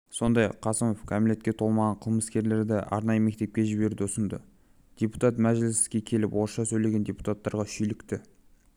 сондай-ақ қасымов кәмелетке толмаған қылмыскерлерді арнайы мектепке жіберуді ұсынды депутат мәжіліске келіп орысша сөйлеген депутаттарға шүйлікті